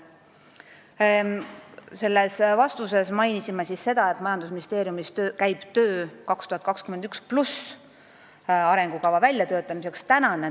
Nii et selles vastuses mainime seda, et majandusministeeriumis käib töö 2021+ perioodi arengukava väljatöötamiseks.